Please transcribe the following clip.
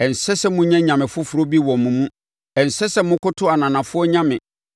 Ɛnsɛ sɛ monya anyame foforɔ bi wɔ mo mu; ɛnsɛ sɛ mokoto ananafoɔ nyame.